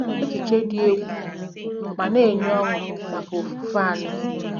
Echiche dị egwu ma na-enye ọṅụ maka ofufe anyị